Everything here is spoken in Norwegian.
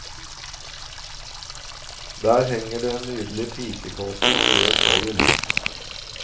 Der henger det en nydelig pikekåpe av rød fløyel.